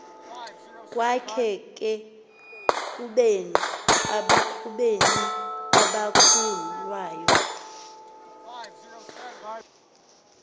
kwakhe ekubeni abakhuluwa